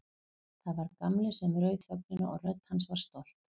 Það var Gamli sem rauf þögnina og rödd hans var stolt.